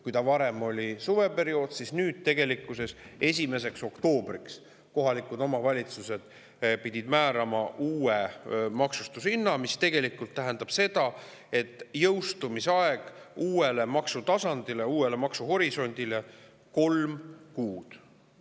Varem oli see suveperioodil, aga nüüd pidid kohalikud omavalitsused määrama uue maksustamishinna 1. oktoobriks, mis tegelikult tähendab seda, et uue maksutasandi, uue maksuhorisondi jõustumiseni oli aega umbes kolm kuud.